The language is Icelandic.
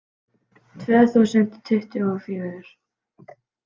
Tvö þúsund tuttugu og fjögur